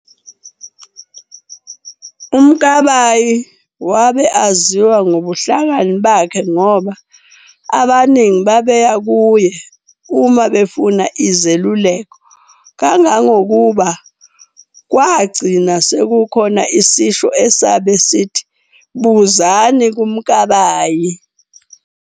UMkabayi wabe aziwa ngobuhlakani bakhe ngoba abaningi babeya kuye uma befuna izelululeko, kangakukuba kwagcina sekukhona isisho esabe sithi"Buzani kaMakabayi".